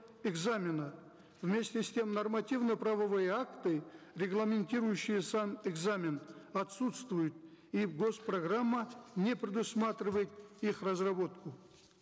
экзамена вместе с тем нормативно правовые акты регламентирующие сам экзамен отсутствуют и госпрограмма не предусматривает их разработку